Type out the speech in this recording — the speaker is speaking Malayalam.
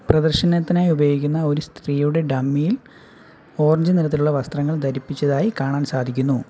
പ്രദർശനത്തിനായി ഉപയോഗിക്കുന്ന ഒരു സ്ത്രീയുടെ ഡമ്മിയും ഓറഞ്ച് നിറത്തിലുള്ള വസ്ത്രങ്ങൾ ധരിപ്പിച്ചതായി കാണാൻ സാധിക്കുന്നു.